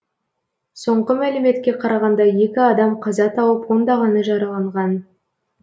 соңғы мәліметке қарағанда екі адам қаза тауып ондағаны жараланған